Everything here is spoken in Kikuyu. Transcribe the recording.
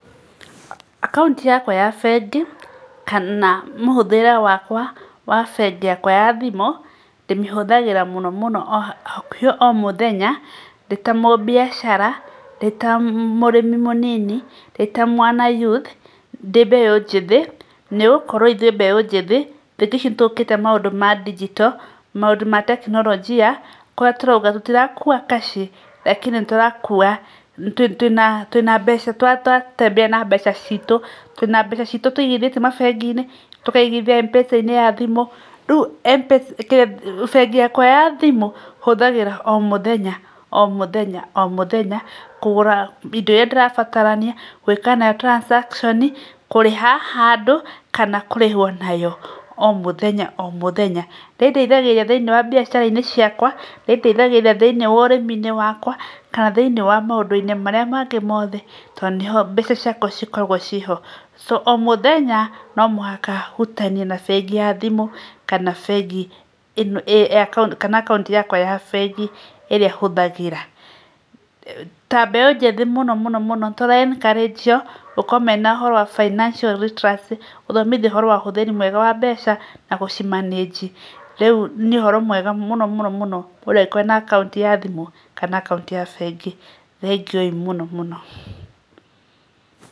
Akaunti yakwa ya bengi kana mũhũthĩre wakwa wa bengi yakwa ya thimũ, ndĩmĩhũthagĩra mũno mũno hakuhĩ o mũthenya ndĩ ta ta mũmbiacara ndĩ ta mũrĩmi mũnini ndĩ ta mwana youth ndĩ mbeu njĩthĩ nĩgũkorwo ithuĩ mbeu njĩthĩ thikũ ici nĩgũkĩte maũndũ ma digital maũndũ ma tekinoronjia kũrĩa tũrauga tũtirakua kaci lakini nĩ tũrakũa twina twina mbeca twa tũratembea na mbeca citũ na mbeca citũ tũigithĩtie mabengi-inĩ tũkaigithia mpesa-inĩ ya thimũ rĩu bengi yakwa ya thimũ hũthagĩra o mũthenya o mũthenya o mũthenya kũgũra indo iria ndĩrabatarania gwĩka na transaction kũrĩha handũ kana kũrĩhwo nayo o mũthenya o mũthenya nĩ ĩndeithagĩrĩria thĩiniĩ wa mbiacara ciakwa nĩ ĩndeithagĩrĩria thĩiniĩ wa ũrĩmi-inĩ wakwa kana thĩiniĩ wa maũndũ-inĩ marĩa mangĩ mothe tondũ nĩho mbeca ciakwa cikoragwo ciho o mũthenya no mũhaka hutanie na bengi ya thimũ kana bengi kana akaunti yakwa ya bengi ĩrĩa huthagĩra. Ta mbeu njĩthĩ mũno mũno mũno tũra encourage io gũkorwo mena ũhoro wa financial literacy gũthomithio ũhoro wa ũhũthĩri mwega wa mbeca na gũci manage, rĩũ nĩ ũhoro mwega mũno mũno mũndũ angĩkorwo na akaunti ya thimũ kana akaunti ya bengi thengiũi mũno mũno.